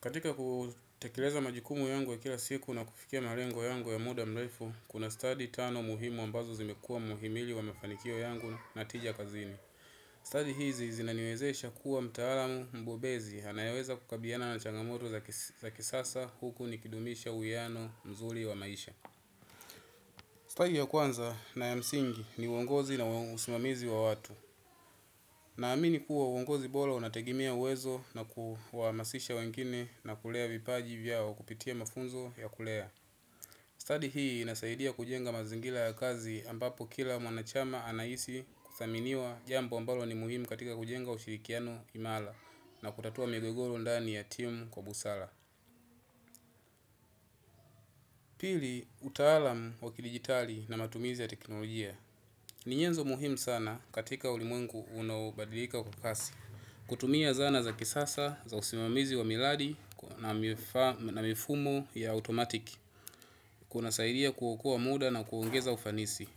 Katika kutekeleza majukumu yangu ya kila siku na kufikia malengo yangu ya muda mrefu, kuna study tano muhimu ambazo zimekua muhimili wa mafanikio yangu na tija kazini. Study hizi zinani wezesha kuwa mtaalamu mbobezi anayeweza kukabilana na changamoto za kisasa huku nikidumisha uwiano mzuri wa maisha. Study ya kwanza na ya msingi ni uongozi na usimamizi wa watu. Naamini kuwa uongozi bora unategemea uwezo na kuhamasisha wengine na kulea vipaji vyao kupitia mafunzo ya kulea. Study hii nasaidia kujenga mazingira ya kazi ambapo kila mwanachama anahisi kuthaminiwa jambo ambalo ni muhimu katika kujenga ushirikiano imara na kutatua migogoro ndani ya timu kwa busara. Pili, utaalam wakidigitali na matumizi ya teknolojia. Ni nyenzo muhimu sana katika ulimwengu unaobadilika kwa kasi. Kutumia zana za kisasa, za usimamizi wa miradi na mifumo ya automatic. Kuna sairia kuokoa muda na kuongeza ufanisi.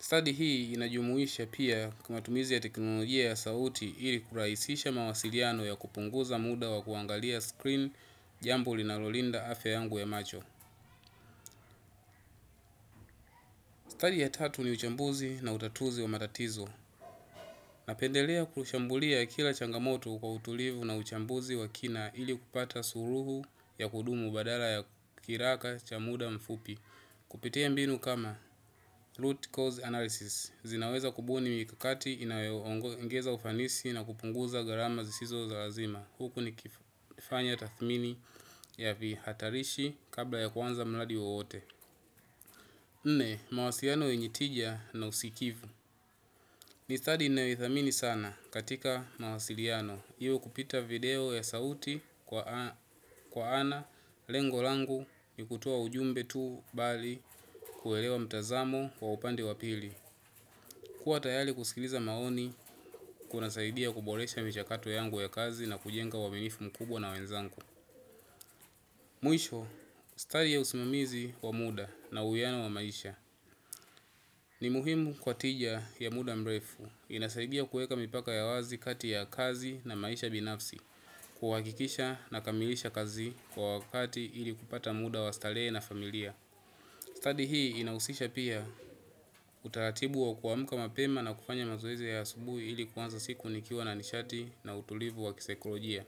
Study hii inajumuisha pia kumatumizi ya teknolojia ya sauti ili kuraisisha mawasiliano ya kupunguza muda wa kuangalia screen jambuo linalo linda afya yangu ya macho. Study ya tatu ni uchambuzi na utatuzi wa matatizo. Napendelea kushambulia kila changamoto kwa utulivu na uchambuzi wa kina ili kupata ssuluhu ya kudumu badala ya kiraka cha muda mfupi. Kupitia mbinu kama root cause analysis, zinaweza kubuni mikakati inayo ngeza ufanisi na kupunguza gharama zisizo za lazima. Huku ni kufanya tathmini ya vi hatarishi kabla ya kuanza mradi wote. Nne, mawasiliano yenye tija na usikivu. Ni study ninayo ithamini sana katika mawasiliano. Iyo kupita video ya sauti kwa ana lengo langu ni kutoa ujumbe tu bali kuelewa mtazamo kwa upande wapili. Kua tayari kusikiliza maoni, kuna saidia kuboresha michakato yangu ya kazi na kujenga uaminifu mkubwa na wenzangu. Mwisho, study ya usimamizi wa muda na uwiano wa maisha. Ni muhimu kwa tija ya muda mrefu. Inasaidia kueka mipaka ya wazi kati ya kazi na maisha binafsi. Kuhakikisha nakamilisha kazi kwa wakati ili kupata muda wa starehe na familia. Study hii inausisha pia utaratibu wa kuamka mapema na kufanya mazoezi ya subuhi ili kuanza siku nikiwa na nishati na utulivu wa kisekolojia.